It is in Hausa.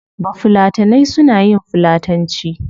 Bafulatanai suna yin fulatanci